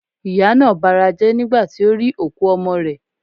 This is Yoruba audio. Ìyá naa barajé̩ nigba ti o ri òkú ọmọ rè